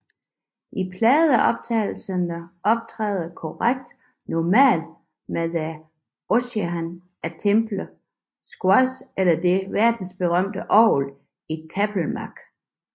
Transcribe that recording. I pladeoptagelser optræder koret normalt med the Orchestra at Temple Square eller det verdensberømte orgel i Tabernaklet